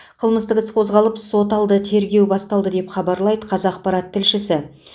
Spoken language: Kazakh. қылмыстық іс қозғалып соталды тергеу басталды деп хабарлайды қазақпарат тілшісі